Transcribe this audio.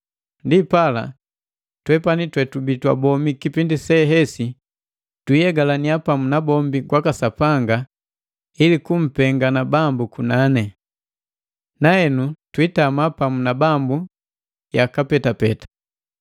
Ndipala twepani twetubii twabomi kipindi sehesi twiihegalania pamu na bombi kwaka Sapanga ili kumpengalane Bambu munani. Nahenu twiitama pamu na Bambu yaka petapeta.